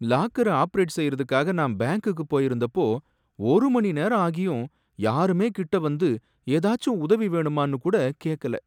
லாக்கர operate செய்றதுக்காக நான் பேங்க்குக்கு போயிருந்தப்போ ஒருமணி நேரம் ஆகியும் யாருமே கிட்டவந்து எதாச்சும் உதவி வேணுமானு கூட கேக்கல.